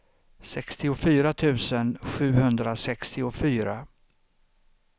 sextiofyra tusen sjuhundrasextiofyra